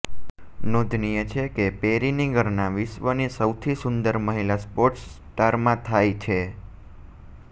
નોંધનીય છે કે પેરીની ગણના વિશ્વની સૌથી સુંદર મહિલા સ્પોર્ટ્સ સ્ટારમાં થાય છે